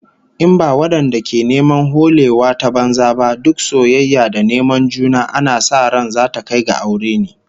In ba wadanda ke neman holewa ta banza ba, duk soyayya da neman juna ana sa ran zata kai ga aure ne